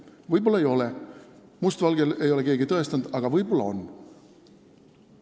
Võib-olla ei ole see korruptiivne, must valgel ei ole keegi tõestanud, aga võib-olla on.